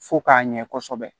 Fo k'a ɲɛ kosɛbɛ